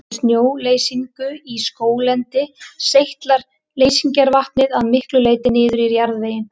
Við snjóleysingu í skóglendi seytlar leysingarvatnið að miklu leyti niður í jarðveginn.